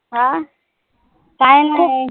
हा काय नाई